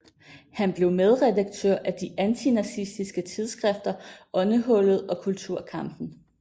Han blev medredaktør af de antinazistiske tidsskrifter Aandehullet og Kulturkampen